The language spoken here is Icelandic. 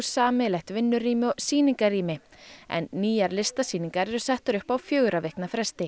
sameiginlegt vinnurými og sýningarrými en nýjar listasýningar eru settar upp á fjögurra vikna fresti